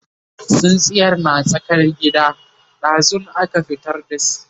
tsintsiyar na tsakar gida, ɗazun aka fitar da shi